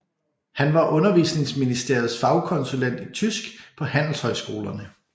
Han var Undervisningsministeriets fagkonsulent i tysk på handelshøjskolerne